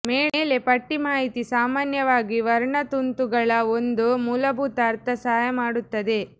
ಮೇಲೆ ಪಟ್ಟಿ ಮಾಹಿತಿ ಸಾಮಾನ್ಯವಾಗಿ ವರ್ಣತಂತುಗಳ ಒಂದು ಮೂಲಭೂತ ಅರ್ಥ ಸಹಾಯ ಮಾಡುತ್ತದೆ